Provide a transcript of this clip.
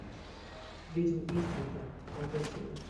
ведьмы ист энда пятая серия